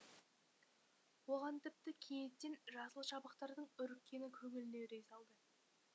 оған тіпті кенеттен жасыл шабақтардың үріккені көңіліне үрей салды